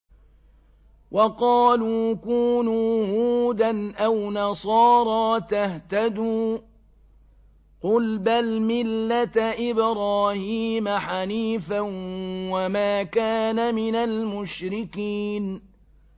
وَقَالُوا كُونُوا هُودًا أَوْ نَصَارَىٰ تَهْتَدُوا ۗ قُلْ بَلْ مِلَّةَ إِبْرَاهِيمَ حَنِيفًا ۖ وَمَا كَانَ مِنَ الْمُشْرِكِينَ